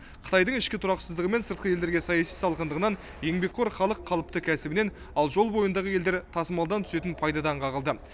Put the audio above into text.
қытайдың ішкі тұрақсыздығы мен сыртқы елдерге саяси салқындығынан еңбекқор халық қалыпты кәсібінен ал жол бойындағы елдер тасымалдан түсетін пайдадан қағылды